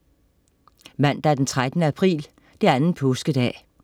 Mandag den 13. april. Anden påskedag